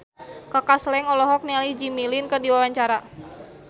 Kaka Slank olohok ningali Jimmy Lin keur diwawancara